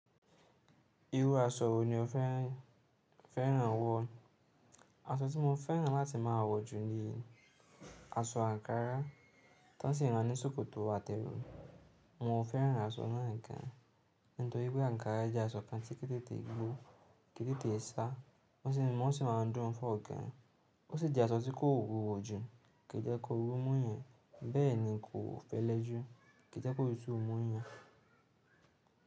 Irú aṣọ wo ni o fẹ́ràn wọ̀? Aṣọ tí mo fẹ́ràn láti máa wọ̀ jù ni aṣọ àǹkárá, tán sì rán ní ṣòkòtò àti èwū. Mo fẹ́ràn aṣọ náà gan, nítorí pé àǹkárá jẹ́ aṣọ kan tí kíni tètè gbó, kíni tètè sá, wọ́n sì máa ń dùn fún ọ̀gá. Ó sì jẹ́ aṣọ tí kò wúwo jù, kíì jẹ́ kó oru mú yàn, bẹ́ẹ̀ ni kò fẹ́lẹ́ jù, kíì jẹ́ kóotutu mú yàn.